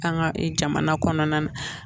An ka jamana kɔnɔna na